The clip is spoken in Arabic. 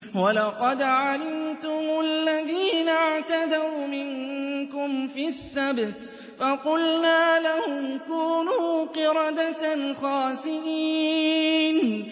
وَلَقَدْ عَلِمْتُمُ الَّذِينَ اعْتَدَوْا مِنكُمْ فِي السَّبْتِ فَقُلْنَا لَهُمْ كُونُوا قِرَدَةً خَاسِئِينَ